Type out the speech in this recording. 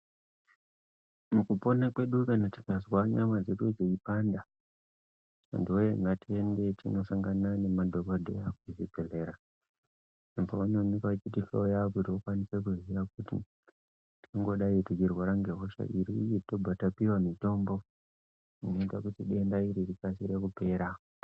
Mukupona kwedu kana tikazwa nyama dzedu dzei panda, hanuwe! ngatiende tinosangana nemadhokodheya kuzvibhehleya uko vanoonekwa veitihloya kuti vakwanise kuziya kuti vakwanise kuziya tingangodai teirwara nehosha ipi, uye tobva tapiwa mitombo inoita kuti denda iri rikasire kupera.